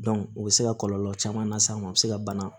o bɛ se ka kɔlɔlɔ caman las'a ma a bɛ se ka bana